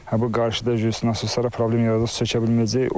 Hə bu qarşıda nasoslara problem yaradacaq, çəkə bilməyəcək.